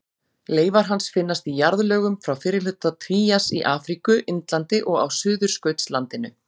Leifar hans finnast í jarðlögum frá fyrri hluta trías í Afríku, Indlandi og á Suðurskautslandinu.